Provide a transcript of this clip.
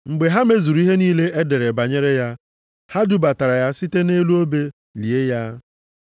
Mgbe ha mezuru ihe niile e dere banyere ya, ha budatara ya site nʼelu obe, lie ya.